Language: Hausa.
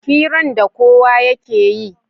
hiran da kowa yakeyi